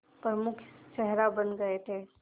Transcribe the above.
प्रमुख चेहरा बन गए थे